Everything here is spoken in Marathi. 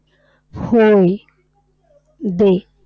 होय. दे.